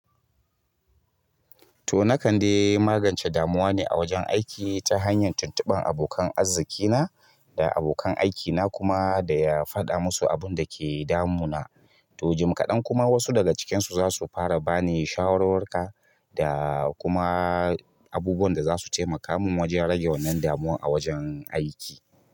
To, na kande magance damuwa ne a wajen aiki ta hanyar tuntubar abokan arzikina da abokan aikina kuma da ya faɗa musu abun da ke damun. To jim kaɗan kuma wasu daga cikinsu zasu fara bani shawarwaruka da kuma abubuwan da zasu taimaka mun rage wannan damuwan a wajan aiki.